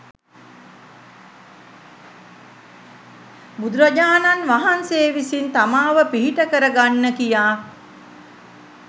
බුදුරජාණන් වහන්සේ විසින් තමාව පිහිට කරගන්න කියා